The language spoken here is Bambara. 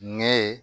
Nɛ ye